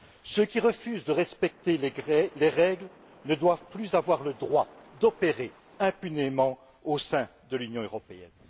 ceux qui refusent de respecter les règles ne doivent plus avoir le droit d'opérer impunément au sein de l'Union européenne.